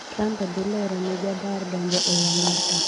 Trump dhilorone jadar donjo ei Amerka.